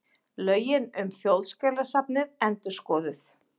Lögin um Þjóðskjalasafnið endurskoðuð